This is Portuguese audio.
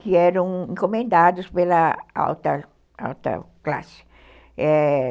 que eram encomendados pela alta alta classe, é